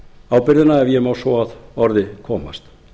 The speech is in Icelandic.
ábyrgðina ef ég má svo að orði komast